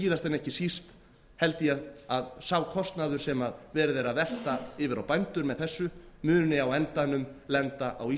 síðast en ekki síst held ég að sá kostnaður sem verið er að velta yfir á bændur með þessu muni á endanum lenda á